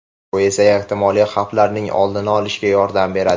Bu esa ehtimoliy xavflarning oldini olishga yordam beradi.